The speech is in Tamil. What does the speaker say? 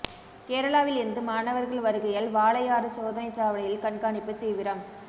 கேரளாவில் இருந்து மாணவர்கள் வருகையால் வாளையாறு சோதனைச் சாவடியில் கண்காணிப்பு தீவிரம்